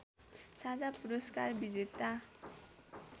साझा पुरस्कार विजेता